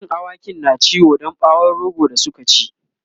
cikin awakin na ciwo Dan bawon rogo da Suka ci